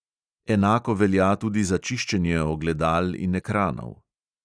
Enako velja tudi za čiščenje ogledal in ekranov.